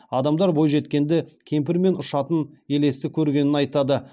адамдар бойжеткенді кемпір мен ұшатын елесті көргенін айтады